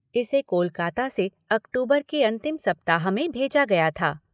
इसे कोलकाता से अक्टूबर के अंतिम सप्ताह में भेजा गया था।